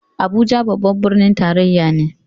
Abuja babban birnin tarayya ne.